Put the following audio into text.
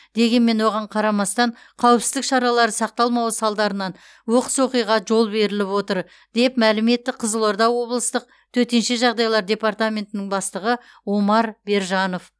дегенмен оған қарамастан қауіпсіздік шаралары сақталмауы салдарынан оқыс оқиға жол беріліп отыр деп мәлім етті қызылорда облыстық төтенше жағдайлар департаментінің бастығы омар бержанов